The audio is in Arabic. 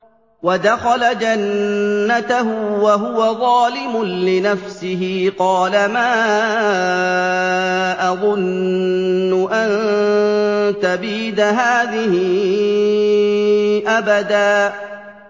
وَدَخَلَ جَنَّتَهُ وَهُوَ ظَالِمٌ لِّنَفْسِهِ قَالَ مَا أَظُنُّ أَن تَبِيدَ هَٰذِهِ أَبَدًا